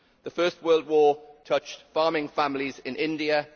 The First World War touched farming families in India